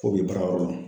K'o bi baara yɔrɔ